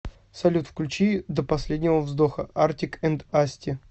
салют включи до последнего вздоха артик энд асти